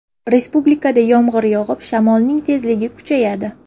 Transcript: Respublikada yomg‘ir yog‘ib, shamolning tezligi kuchayadi.